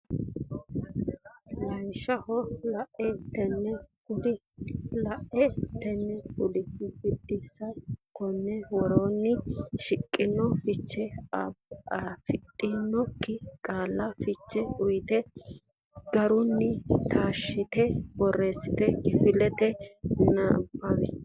Lawishsha: laa, tiii, kuuu la”a, tii”i, kuu”u Biddissa Konni woroonni shiqqino fiche afidhinokki qaalla fiche uytanno garinni taashshite borreessite kifilete nabbawi.